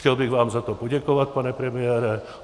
Chtěl bych vám za to poděkovat, pane premiére.